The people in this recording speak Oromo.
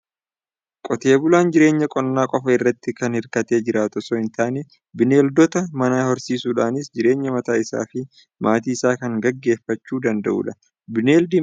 Qotee bulaan jireenya qonnaa qofaa irratti kan hirkatee jiraatu osoo hin taane, bineeldota manaa horsiisuudhaanis jireenya mataa isaa fi maatii isaa kan gaggeeffachuu danda'udha. Bineeldi manaa kun r'ee kan jedhamtudha.